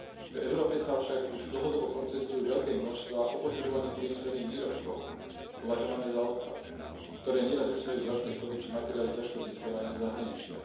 V Európe sa však už dlhodobo koncentrujú veľké množstvá opotrebovaných priemyselných výrobkov považované za odpad, ktoré neraz obsahujú vzácne kovy či materiály ťažko získavané zo zahraničia.